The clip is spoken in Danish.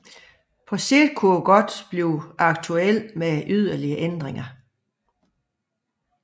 På sigt kunne det dog blive aktuelt med yderligere ændringer